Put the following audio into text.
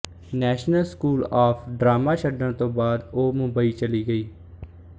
national school of drama ਛੱਡਣ ਤੋਂ ਬਾਅਦ ਉਹ ਮੁੰਬਈ ਚਲੀ ਗਈ